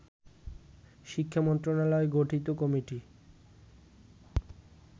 শিক্ষা মন্ত্রণালয় গঠিত কমিটি